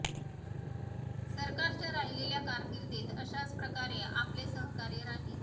सरकारच्या राहिलेल्या कारकिर्दीत अशाच प्रकारे आपले सहकार्य राहील